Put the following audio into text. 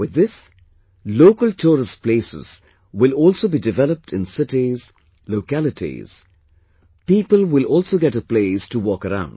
With this, local tourist places will also be developed in cities, localities, people will also get a place to walk around